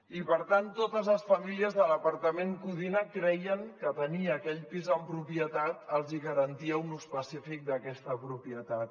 i per tant totes les famílies de l’apartament codina creien que tenir aquell pis en propietat els hi garantia un ús pacífic d’aquesta propietat